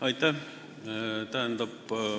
Aitäh!